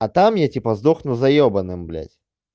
а там я типа сдохну за ебаным блять